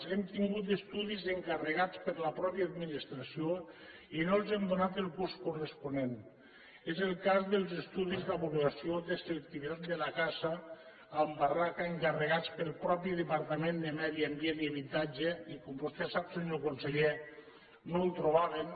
hem tingut estudis encarregats per la pròpia administració i no els hem donat el curs corresponent és el cas dels estudis de valoració de selectivitat de la caça amb barraca encarregats pel mateix departament de medi ambient i habitatge i que com vostè sap senyor conseller no ho trobaven